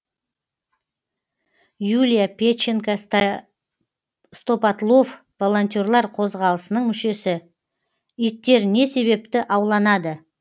юлия педченко стопотлов волонтерлер қозғалысының мүшесі иттер не себепті ауланады